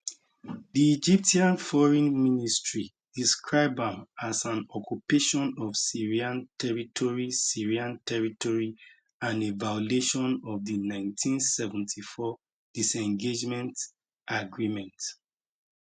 di egyptian foreign ministry describe am as an occupation of syrian territory syrian territory and a violation of di 1974 disengagement agreement